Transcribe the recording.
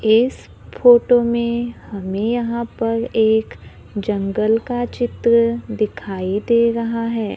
इस फोटो में हमें यहां पर एक जंगल का चित्र दिखाई दे रहा है।